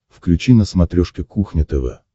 включи на смотрешке кухня тв